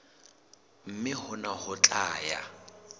mme hona ho tla ya